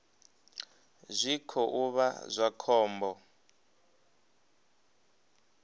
zwi khou vha zwa khombo